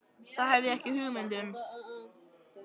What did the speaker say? Það hef ég ekki hugmynd um.